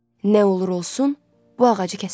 Nə olur olsun, bu ağacı kəsməliyəm.